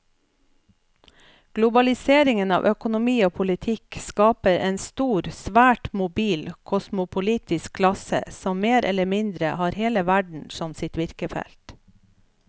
Globaliseringen av økonomi og politikk skaper en stor, svært mobil kosmopolitisk klasse som mer eller mindre har hele verden som sitt virkefelt.